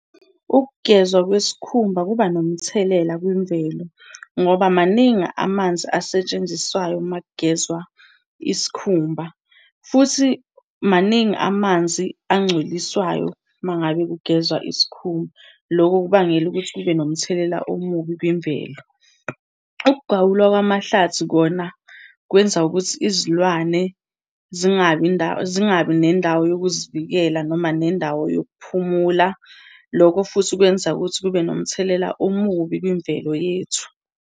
Ukugezwa kwesikhumba kuba nomthelela kwimvelo ngoba maningi amanzi asetshenziswayo uma kugezwa isikhumba. Futhi maningi amanzi angcoliswayo uma ngabe kugezwa isikhumba. Loko kubangela ukuthi kube nomthelela omubi kwimvelo. Ukugawulwa kwamahlathi kona kwenza ukuthi izilwane zingabi , zingabi nendawo yokuzivikela, noma nendawo yokuphumula. Loko futhi kwenza ukuthi kube nomthelela omubi kwimvelo yethu.